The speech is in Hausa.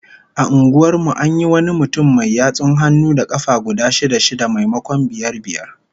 A unguwar mu an yi wani mutum mai yatsun hannu da kafa guda shida-shida, maimakon biyar biyar